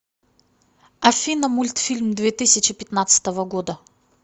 афина мультфильм две тысячи пятнадцатого года